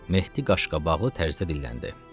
Mehdi qaşqabaqlı tərzdə dilləndi.